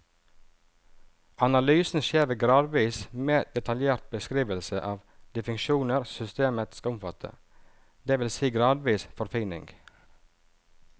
Analysen skjer ved gradvis mer detaljert beskrivelse av de funksjoner systemet skal omfatte, det vil si gradvis forfining.